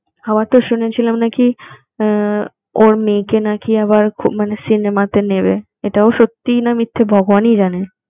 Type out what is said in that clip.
আবার তো শুনেছিলাম নাকি ওর মেয়েকে নাকি আবার সিনেমাতে নেবে এটাও সত্যি না মিথ্যে ভগবানই জানে